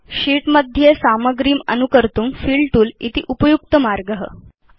शीत् मध्ये सामग्रे प्रतिलिपिं कर्तुं फिल तूल इति उपयुक्त पद्धति अस्ति